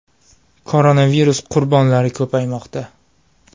Koronavirus qurbonlari ko‘paymoqda.